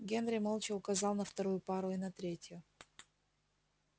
генри молча указал на вторую пару и на третью